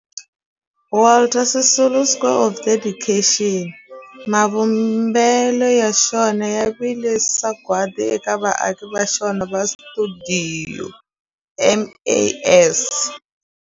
Walter Sisulu Square of Dedication, mavumbelo ya xona ya vile sagwadi eka vaaki va xona va stuidio MAS.